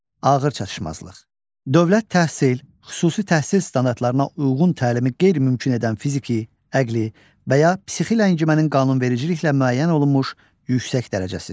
Ağır çatışmazlıq: Dövlət təhsil, xüsusi təhsil standartlarına uyğun təlimi qeyri-mümkün edən fiziki, əqli və ya psixi ləngimənin qanunvericiliklə müəyyən olunmuş yüksək dərəcəsi.